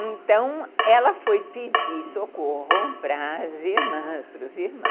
Então, ela foi pedir socorro para as irmãs, para os irmãos.